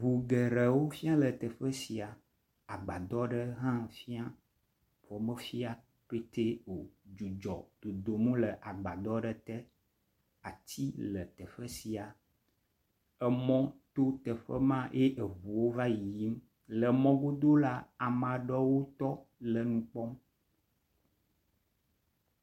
Ŋu geɖewo fia le teƒe sia, agbadɔ ɖe hã fiã. Xɔ mefiã petɛ o. Dzudzɔ dodom le agbadɔ aɖe te. Ati le teƒe sia. Mɔ to teƒe ma ye ŋuwo va yiyim le mɔ godo la, ame aɖewo tɔ le nu kpɔm.